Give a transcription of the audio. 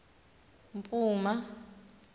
mpuma